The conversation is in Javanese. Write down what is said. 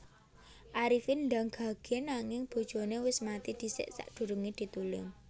Arifin ndang gage nanging bojone wis mati dhisik sakdurunge ditulung